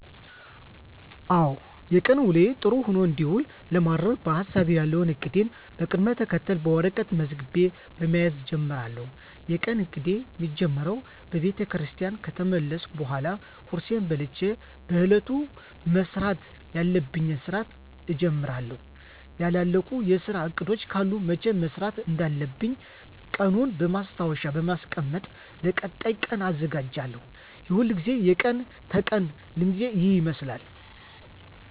አዎ የቀን ውሎየ ጥሩ ሆኖ እንዲውል ለማድረግ በሀሳቤ ያለዉን እቅዴን በቅደም ተከተል በወረቀት መዝግቤ በመያዝ እጀምራለሁ። የቀን እቅዴ ሚጀምረው ቤተክርስቲያን ከተመለስኩ በኃላ ቁርሴን በልቸ በእለቱ መስራት ያለብኝን ስራ እጀምራለሁ ያላለቁ የስራ እቅዶች ካሉ መቸ መስራት እንዳለብኝ ቀኑን በማስታወሻ በማስቀመጥ ለቀጣይ ቀን እዘጋጃለሁ። የሁልግዜ የቀን ተቀን ልምዴ ይህን ይመስላል።